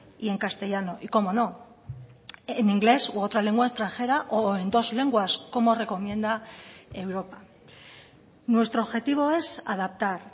y en castellano y cómo no en inglés u otra lengua extranjera o en dos lenguas como recomienda europa nuestro objetivo es adaptar